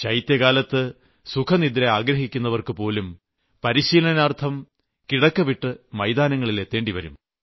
ശൈത്യകാലത്ത് സുഖനിദ്ര ആഗ്രഹിക്കുന്നവർ പോലും പരിശീലനാർത്ഥം കിടക്ക വിട്ട് മൈതാനങ്ങളിൽ എത്തേണ്ടിവരും